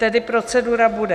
Tedy procedura bude: